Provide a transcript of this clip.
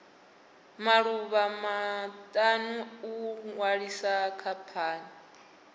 maḓuvha maṱanu u ṅwalisa khamphani